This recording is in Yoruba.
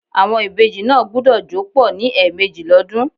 Àwon ìbejì náà gbúdọ̀ jó pọ̀ ní ẹ̀mẹ́jì l'ọ́dún.